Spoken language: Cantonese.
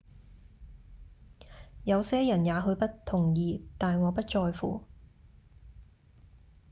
「有些人也許不同意但我不在乎